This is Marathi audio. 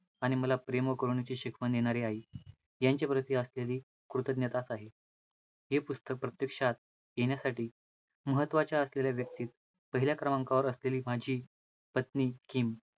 आणि मला प्रेम करूणेची शिकवण देणारी आई, यांच्या प्रती असलेली कृतज्ञताचं आहे, हे पुस्तक प्रत्यक्षात येण्यासाठी महत्वाच्या असलेल्या व्यक्ति पहिल्या क्रमांकावर असलेली माझी पत्नी किम